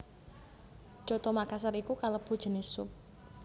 Coto Makassar iku kalebu jinis sup